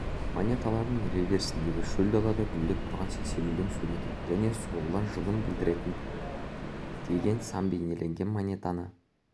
монеталардың реверсінде шөл далада гүлдеп тұрған сексеуілдің суреті және соғылған жылын білдіретін деген сан бейнеленген монетаны